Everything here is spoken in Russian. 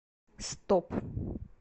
стоп